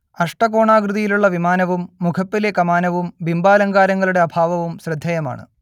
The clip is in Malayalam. അഷ്ടകോണാകൃതിയിലുള്ള വിമാനവും മുഖപ്പിലെ കമാനവും ബിംബാലങ്കാരങ്ങളുടെ അഭാവവും ശ്രദ്ധേയമാണ്